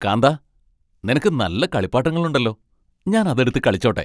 കാന്താ, നിനക്ക് നല്ല കളിപ്പാട്ടങ്ങളുണ്ടല്ലോ. ഞാൻ അത് എടുത്ത് കളിച്ചോട്ടെ ?